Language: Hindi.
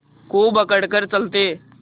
खूब अकड़ कर चलते